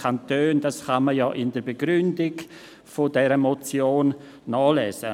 Dies kann man in der Begründung dieser Motion nachlesen.